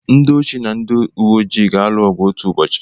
Ndị osi na ndị uweojii ga-alụ ọgụ otu ụbọchị.